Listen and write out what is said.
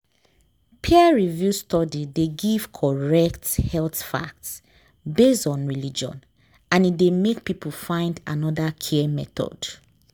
peer-reviewed study dey give correct health fact based on religion and e dey make people find another care method.